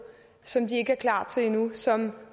som de ikke er klar til endnu som